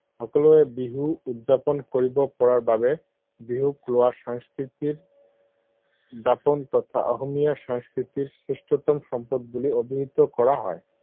সকলোৱে বিহু উদযাপন কৰিব পৰাৰ বাবে বিহুক সংস্কৃতিৰ দাপোন তথা অসমীয়া সংস্কৃতিৰ শ্ৰেষ্ঠতম সম্পদ বুলি অভিহিত কৰা হয়।